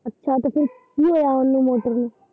ਅੱਛਾ ਤੇ ਫਿਰ ਕੀ ਹੋਇਆ ਉਨੂੰ ਮੋਟਰ ਨੂੰ।